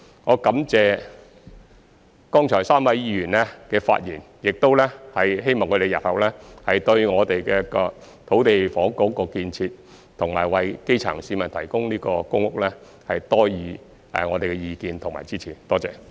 我感謝剛才3位議員的發言，亦希望他們日後對我們的土地及房屋建設，以及為基層市民提供公屋方面多給意見及支持，謝謝。